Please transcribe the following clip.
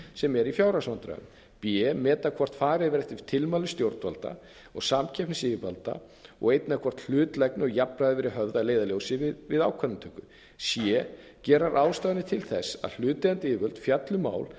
sem eru í fjárhagsvandræðum b meta hvort farið verði eftir tilmælum stjórnvalda árs að minnsta kosti eppnisyfirvalda og einnig hvort hlutlægni og jafnræði hafi verið höfð að leiðarljósi við ákvarðanatöku c gera ráðstafanir til þess að hlutaðeigandi yfirvöld fjalli um mál